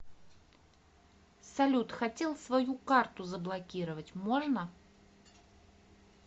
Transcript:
салют хотел свою карту заблокировать можно